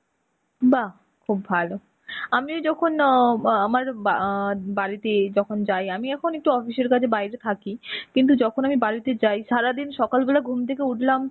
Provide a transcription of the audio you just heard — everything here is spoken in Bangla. বাহ্, খুব ভালো. আমিও যখন অ্যাঁ ম আমার বা~ বাড়িতে যখন যাই আমি এখন একটু office এর কাজে বাইরে থাকি. কিন্তু যখন আমি বাড়িতে যাই, সারাদিন সকালবেলায় ঘুম থেকে উঠলাম